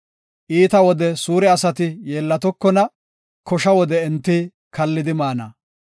Iita wode suure asati yeellatokona; kosha wode enti kallidi maana.